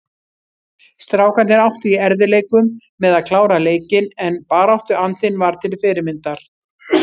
Strákarnir áttu í erfiðleikum með að klára leikinn en baráttuandinn var til fyrirmyndar.